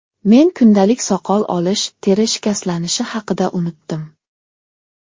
Men kundalik soqol olish, teri shikastlanishi haqida unutdim.